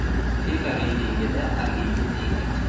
FIFA reytingida Argentina yetakchi.